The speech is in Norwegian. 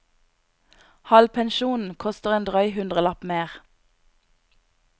Halvpensjon koster en drøy hundrelapp mer.